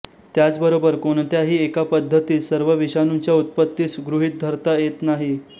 त्याचबरोबर कोणत्याही एका पद्धतीस सर्व विषाणूंच्या उत्पत्तीस गृहीत धरता येत नाही